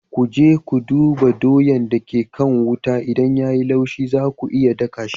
Ku je ku duba doyan da ke kan wuta idan ya yi laushi za ku iya daka shi.